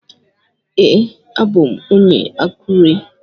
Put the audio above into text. Ee, abu m onye Akure.